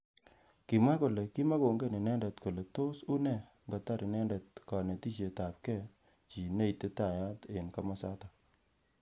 Kimwa kole kimakongen inendet kole tos une ingotar inendet kanetishet ab keek chi neititaat eng kimosatak.